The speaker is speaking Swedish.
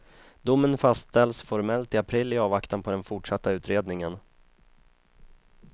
Domen fastställs formellt i april i avvaktan på att den fortsatta utredningen.